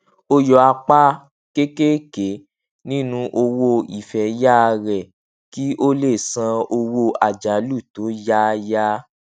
ó yọ apá kéékèèké nínú owó ìfẹyà rẹ kí ó lè san owó àjálù tó yáyà